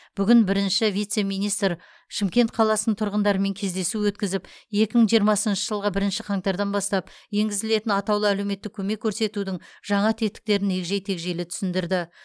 бүгін бірінші вице министр шымкент қаласының тұрғындарымен кездесу өткізіп екі мың жиырмасыншы жылғы бірінші қаңтардан бастап енгізілетін атаулы әлеуметтік көмек көрсетудің жаңа тетіктерін егжей тегжейлі түсіндірді